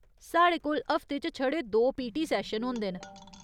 साढ़े कोल हफ्ते च छड़े दो पीटी सैशन होंदे न।